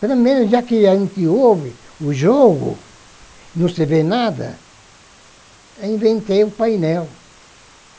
Primeiro, já que a gente ouve o jogo, não se vê nada, inventei o painel.